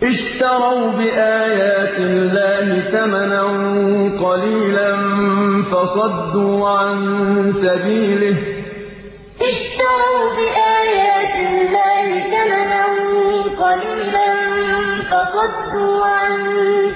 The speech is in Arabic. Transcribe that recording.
اشْتَرَوْا بِآيَاتِ اللَّهِ ثَمَنًا قَلِيلًا فَصَدُّوا عَن سَبِيلِهِ ۚ إِنَّهُمْ سَاءَ مَا كَانُوا يَعْمَلُونَ اشْتَرَوْا بِآيَاتِ اللَّهِ ثَمَنًا قَلِيلًا فَصَدُّوا عَن